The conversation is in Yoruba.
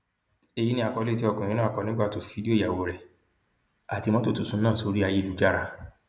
èyí ni àkọlé tí ọkùnrin náà kọ nígbà tó ju fídíò ìyàwó rẹ àti mọtò tuntun náà sórí ayélujára